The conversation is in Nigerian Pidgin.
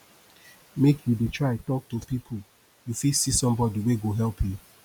make you dey try tok to people you fit see somebodi wey go help you